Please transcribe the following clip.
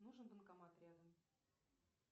нужен банкомат рядом